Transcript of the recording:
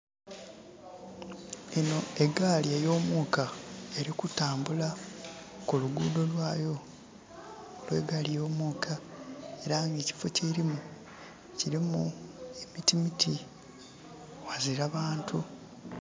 Enho egaali eyo muuka eri kutambula ku luguudo lwayo olwe gaali yo muuka era nga ekifo kyelimu kilimu emiti emiti, ghazila bantu.